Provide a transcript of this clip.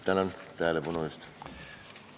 Tänan tähelepanu eest!